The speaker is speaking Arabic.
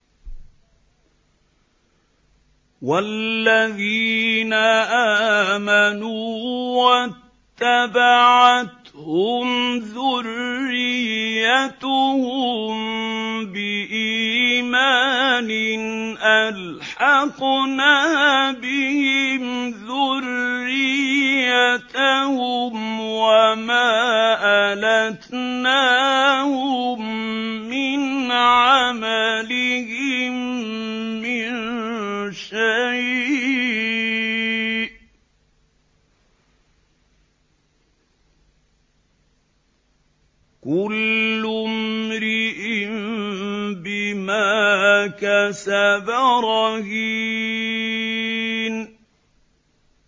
وَالَّذِينَ آمَنُوا وَاتَّبَعَتْهُمْ ذُرِّيَّتُهُم بِإِيمَانٍ أَلْحَقْنَا بِهِمْ ذُرِّيَّتَهُمْ وَمَا أَلَتْنَاهُم مِّنْ عَمَلِهِم مِّن شَيْءٍ ۚ كُلُّ امْرِئٍ بِمَا كَسَبَ رَهِينٌ